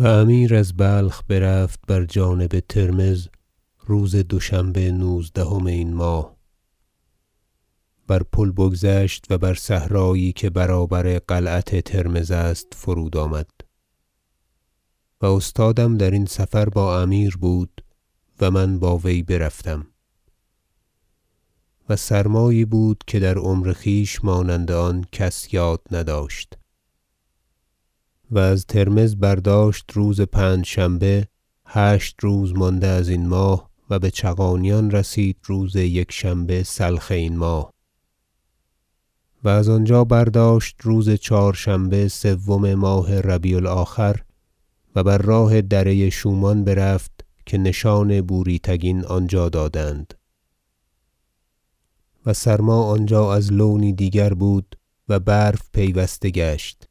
و امیر از بلخ برفت بر جانب ترمذ روز دوشنبه نوزدهم این ماه بر پل بگذشت و بر صحرایی که برابر قلعت ترمذ است فرود آمد و استادم درین سفر با امیر بود و من با وی برفتم و سرمایی بود که در عمر خویش مانند آن کس یاد نداشت و از ترمذ برداشت روز پنجشنبه هشت روز مانده ازین ماه و بچغانیان رسید روز یکشنبه سلخ این ماه و از آنجا برداشت روز چهارشنبه سوم ماه ربیع الآخر و بر راه دره شومان برفت که نشان بوری تگین آنجا دادند و سرما آنجا از لونی دیگر بود و برف پیوسته گشت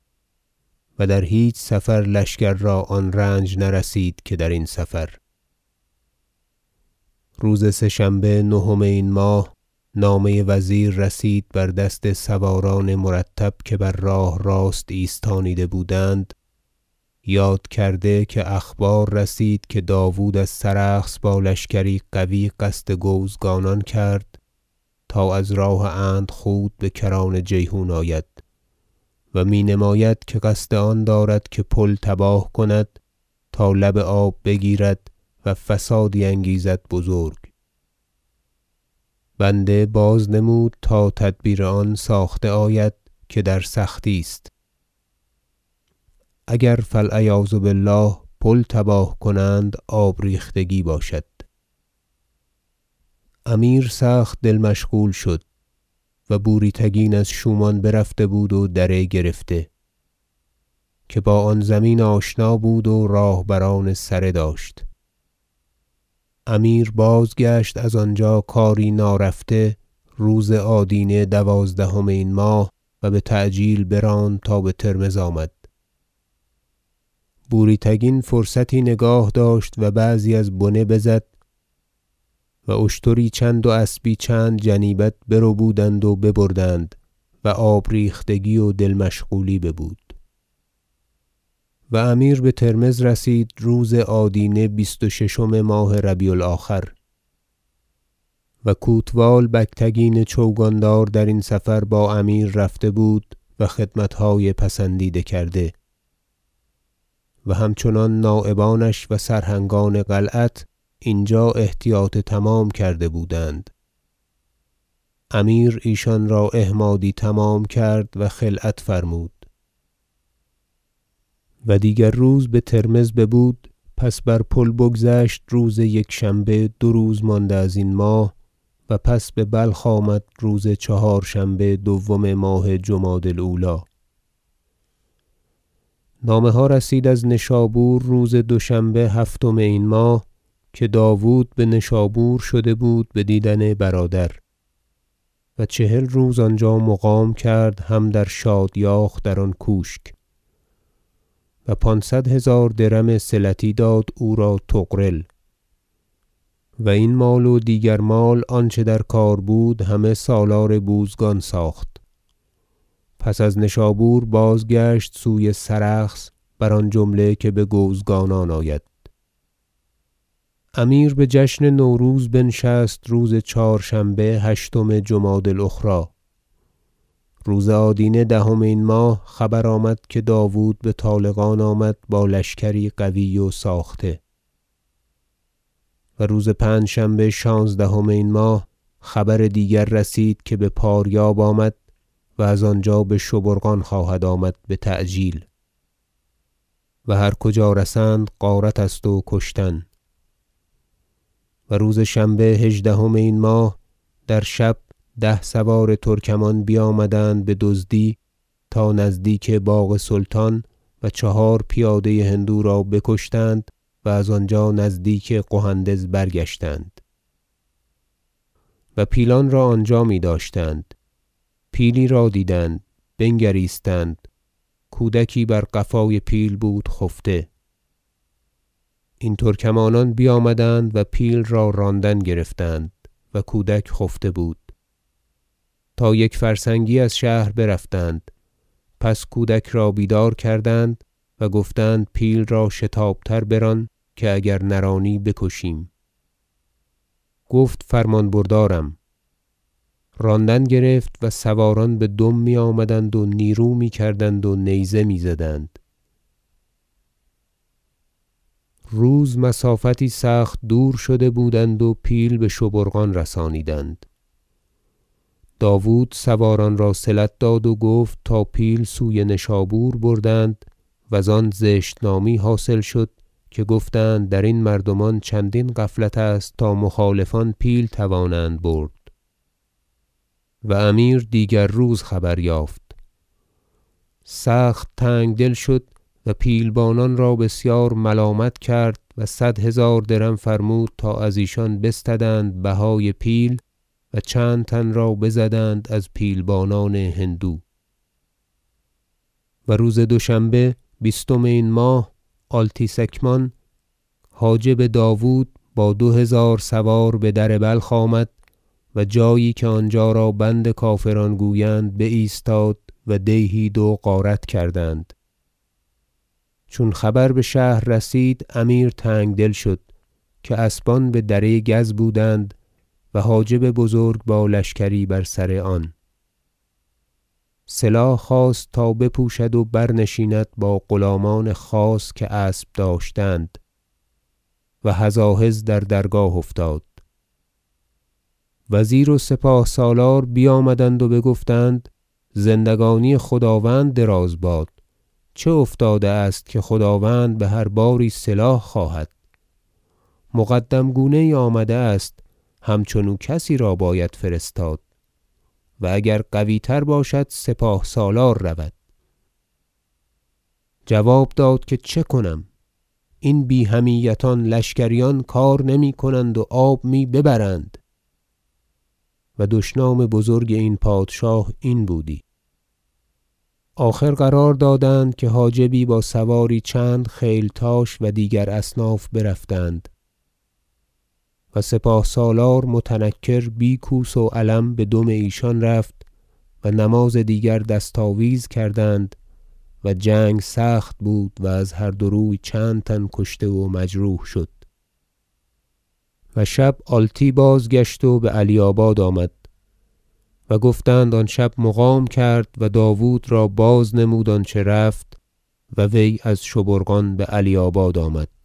و در هیچ سفر لشکر را آن رنج نرسید که درین سفر روز سه شنبه نهم این ماه نامه وزیر رسید بر دست سواران مرتب که بر راه راست ایستانیده بودند یاد کرده که اخبار رسید که داود از سرخس با لشکری قوی قصد گوزگانان کرد تا از راه اندخود بکران جیحون آید و می نماید که قصد آن دارد که پل تباه کند تا لب آب بگیرد و فسادی انگیزد بزرگ بنده باز نمود تا تدبیر آن ساخته آید که در سختی است اگر فالعیاذ بالله پل تباه کنند آب ریختگی باشد امیر سخت دل مشغول شد و بوری تگین از شومان برفته بود و دره گرفته که با آن زمین آشنا بود و راهبران سره داشت امیر بازگشت از آنجا کاری نارفته روز آدینه دوازدهم این ماه و بتعجیل براند تا بترمذ آمد بوری تگین فرصتی نگاه داشت و بعضی از بنه بزد و اشتری چند و اسبی چند جنیبت بربودند و ببردند و آب ریختگی و دل مشغولی ببود و امیر بترمذ رسید روز آدینه بیست و ششم ماه ربیع الآخر و کوتوال بگتگین چوگاندار درین سفر با امیر رفته بود و خدمتهای پسندیده کرده و همچنان نایبانش و سرهنگان قلعت اینجا احتیاط تمام کرده بودند امیر ایشان را احمادی تمام کرد و خلعت فرمود و دیگر روز بترمذ ببود پس بر پل بگذشت روز یکشنبه دو روز مانده ازین ماه و پس ببلخ آمد روز چهارشنبه دوم ماه جمادی الأولی نامه ها رسید از نشابور روز دوشنبه هفتم این این ماه که داود بنشابور شده بود بدیدن برادر و چهل روز آنجا مقام کرد هم در شادیاخ در آن کوشک و پانصد هزار درم صلتی داد او را طغرل و این مال و دیگر مال آنچه در کار بود همه سالار بوزگان ساخت پس از نشابور بازگشت سوی سرخس بر آن جمله که بگوزگانان آید امیر بجشن نوروز بنشست روز چهارشنبه هشتم جمادی الأخری روز آدینه دهم این ماه خبر آمد که داود بطالقان آمد با لشکری قوی و ساخته و روز پنجشنبه شانزدهم این ماه خبر دیگر رسید که بپاریاب آمد و از آنجا بشبورقان خواهد آمد بتعجیل و هر کجا رسند غارت است و کشتن و روز شنبه هژدهم این ماه در شب ده سوار ترکمان بیامدند بدزدی تا نزدیک باغ سلطان و چهار پیاده هندو را بکشتند و از آنجا نزدیک قهندز برگشتند و پیلان را آنجا میداشتند پیلی را دیدند بنگریستند کودکی بر قفای پیل بود خفته این ترکمانان بیامدند و پیل را راندن گرفتند و کودک خفته بود تا یک فرسنگی از شهر برفتند پس کودک را بیدار کردند و گفتند پیل را شتاب تر بران که اگر نرانی بکشیم گفت فرمان بردارم راندن گرفت و سواران بدم میآمدند و نیرو میکردند و نیزه میزدند روز مسافتی سخت دور شده بودند و پیل بشبورقان رسانیدند داود سواران را صلت داد و گفت تا پیل سوی نشابور بردند و زان زشت نامی حاصل شد که گفتند درین مردمان چندین غفلت است تا مخالفان پیل توانند برد و امیر دیگر روز خبر یافت سخت تنگدل شد و پیلبانان را بسیار ملامت کرد و صد هزار درم فرمود تا ازیشان بستدند بهای پیل و چند تن را بزدند از پیلبانان هندو و روز دوشنبه بیستم این ماه آلتی سکمان حاجب داود با دو هزار سوار به در بلخ آمد و جایی که آنجا را بند کافران گویند بایستاد و دیهی دو غارت کردند چون خبر بشهر رسید امیر تنگدل شد که اسبان بدره گز بودند و حاجب بزرگ با لشکری بر سر آن سلاح خواست تا بپوشد و برنشیند با غلامان خاص که اسب داشتند و هزاهز در درگاه افتاد وزیر و سپاه سالار بیامدند و بگفتند زندگانی خداوند دراز باد چه افتاده است که خداوند بهر باری سلاح خواهد مقدم گونه یی آمده است همچنو کسی را باید فرستاد و اگر قوی تر باشد سپاه سالار رود جواب داد که چه کنم این بی حمیتان لشکریان کار نمیکنند و آب می ببرند - و دشنام بزرگ این پادشاه این بودی- آخر قرار دادند که حاجبی با سواری چند خیلتاش و دیگر اصناف برفتند و سپاه سالار متنکر بی کوس و علم بدم ایشان رفت و نماز دیگر دست آویز کردند و جنگ سخت بود و از هر دو روی چند تن کشته و مجروح شد و شب آلتی باز گشت و بعلیاباد آمد و گفتند آن شب مقام کرد و داود را بازنمود آنچه رفت و وی از شبورقان بعلیاباد آمد